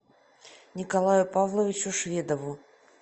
николаю павловичу шведову